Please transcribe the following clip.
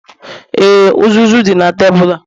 Ee, uzuzu dị na tebụl a